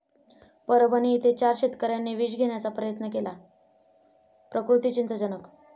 परभणी इथे चार शेतकऱ्यांनी विष घेण्याचा केला प्रयत्न, प्रकृती चिंताजनक